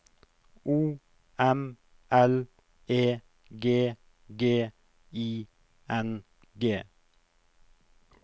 O M L E G G I N G